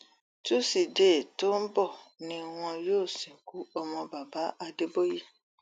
túṣìdée tó ń bọ ni wọn yóò sìnkú ọmọ baba adébóye